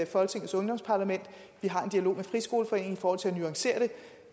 folketingets ungdomsparlament vi har en dialog med dansk friskoleforening i forhold til at nuancere det